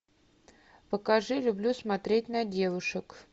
покажи люблю смотреть на девушек